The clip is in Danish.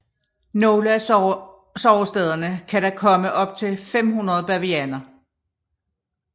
Nogle af sovestederne kan der komme op til 500 bavianer